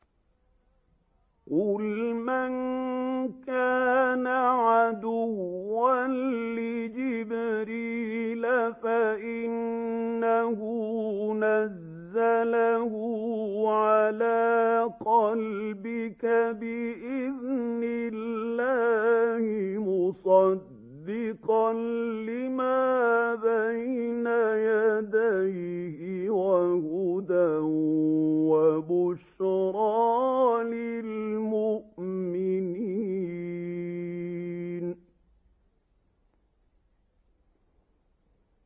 قُلْ مَن كَانَ عَدُوًّا لِّجِبْرِيلَ فَإِنَّهُ نَزَّلَهُ عَلَىٰ قَلْبِكَ بِإِذْنِ اللَّهِ مُصَدِّقًا لِّمَا بَيْنَ يَدَيْهِ وَهُدًى وَبُشْرَىٰ لِلْمُؤْمِنِينَ